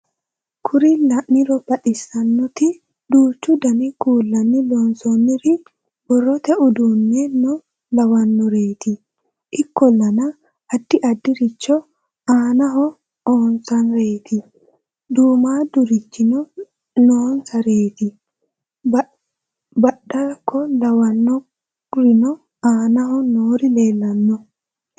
kuri la'niro baxxissannoti duuchu dani kuullanni loonsoonnniri borrote uduunneno lawannoreeti ikkollana addi addirichi aanaho oonsareeti duummaaddurichino noonsareeti beeddakko lawannorino aanaho noori leellannoe